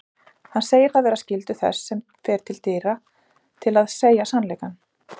Hann segir það vera skyldu þess sem fer til dyra til að segja sannleikann.